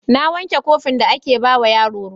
Na wanke kofin da ake ba wa yaro ruwa.